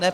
Ne.